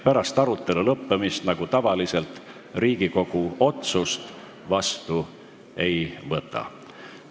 Nagu tavaliselt, pärast arutelu lõppemist Riigikogu otsust vastu ei võtta.